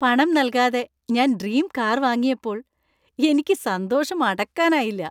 പണം നൽകാതെ ഞാൻ ഡ്രീം കാർ വാങ്ങിയപ്പോൾ എനിക്ക് സന്തോഷം അടക്കാനായില്ല .